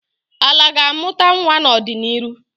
Ala ga-amụta nwa n'ọdịniru.